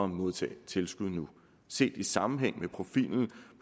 modtage tilskud nu set i sammenhæng med profilen